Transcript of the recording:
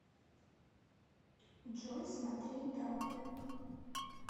джой смотреть дракулу